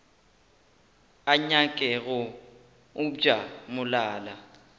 a nyake go obja molala